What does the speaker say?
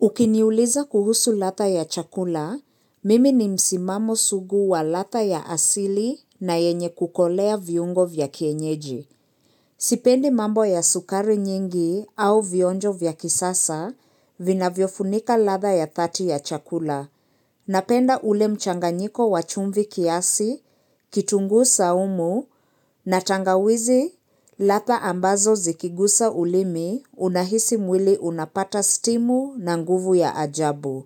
Ukiniuliza kuhusu ladha ya chakula, mimi ni msimamo sugu wa latha ya asili na yenye kukolea viungo vya kienyeji. Sipendi mambo ya sukari nyingi au vionjo vya kisasa, vinavyofunika latha ya 30 ya chakula. Napenda ule mchanganyiko wachumvii kiasi, kitunguu saumu, na tangawizi, latha ambazo zikigusa ulimi, unahisi mwili unapata stimu na nguvu ya ajabu.